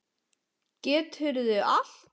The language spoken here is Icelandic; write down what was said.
Geturðu allt?